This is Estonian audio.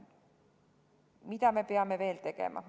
Mida me peame veel tegema?